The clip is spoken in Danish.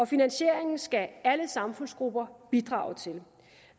finansieringen skal alle samfundsgrupper bidrage til